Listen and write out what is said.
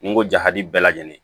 N ko jadi bɛɛ lajɛlen